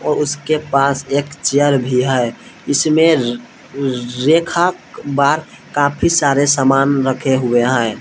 और उसके पास एक चेयर भी है इसमें रेखा बार काफी सारे सामान रखे हुए हैं।